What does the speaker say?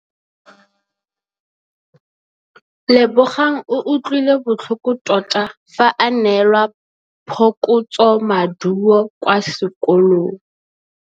Lebogang o utlwile botlhoko tota fa a neelwa phokotsômaduô kwa sekolong.